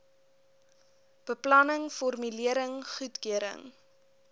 beplanning formulering goedkeuring